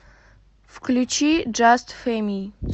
включи джаст фэми